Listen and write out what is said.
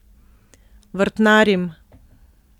Vrtnarim.